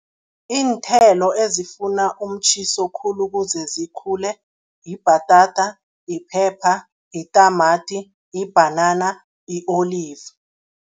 Iinthelo ezifuna umtjhiso khulu ukuze zikhule, yibhatata, yiphepha, yitamati, yibhanana, yi-olive.